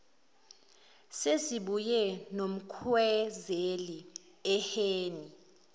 sesibuye nomkhwezeli ehhene